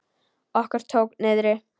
Okkur tók niðri!